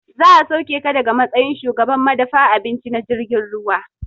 Za a sauke ka daga matsayin shugaban madafa abinci na jirgin ruwa